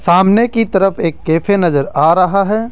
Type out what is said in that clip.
सामने की तरफ एक कैफे नजर आ रहा है।